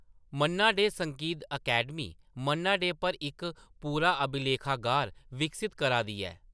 मन्ना डे संगीत अकैडमी मन्ना डे पर इक पूरा अभिलेखागार विकसत करा दी ऐ।